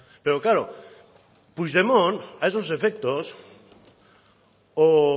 pero claro puigdemont a esos efectos o